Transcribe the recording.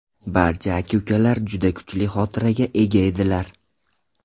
Barcha aka-ukalar juda kuchli xotiraga ega edilar.